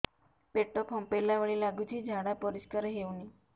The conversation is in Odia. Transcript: ପେଟ ଫମ୍ପେଇଲା ଭଳି ଲାଗୁଛି ଝାଡା ପରିସ୍କାର ହେଉନି